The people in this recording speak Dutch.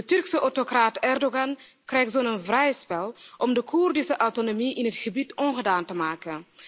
De Turkse autocraat Erdogan krijgt zo vrij spel om de Koerdische autonomie in het gebied ongedaan te maken.